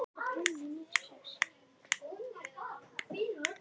Mamma og Heiða urðu báðar ennþá hvítari í framan.